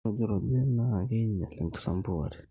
ore enkirrujruj naa keinyial enkisampuare